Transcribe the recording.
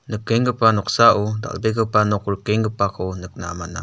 nikenggipa noksao dal·begipa nok rikenggipako nikna man·a.